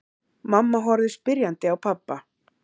Mamma horfði spyrjandi á pabba.